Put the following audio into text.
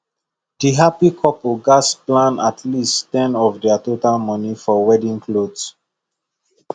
the happy couple gats plan at least ten of their total money for wedding cloth